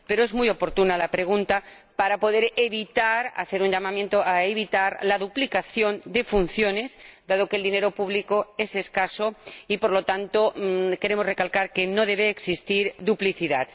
pero es muy oportuna la pregunta para poder hacer un llamamiento a evitar la duplicación de funciones, dado que el dinero público es escaso y, por lo tanto, queremos recalcar que no debe existir duplicidad.